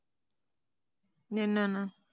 என்னென்னு